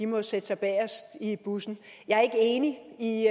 må sætte sig bagest i bussen jeg er ikke enig i